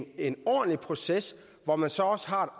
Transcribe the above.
i en ordentlig proces hvor man så også har